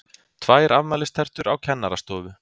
TVÆR AFMÆLISTERTUR Á KENNARASTOFU